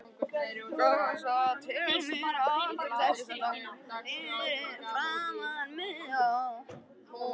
Kom svo til mín aftur og settist á stól fyrir framan mig.